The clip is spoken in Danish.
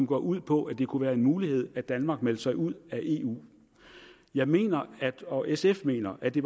gået ud på at det kunne være en mulighed at danmark meldte sig ud af eu jeg mener og sf mener at det